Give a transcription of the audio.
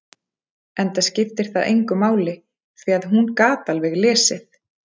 Enda skipti það engu máli, því að hún gat alveg lesið.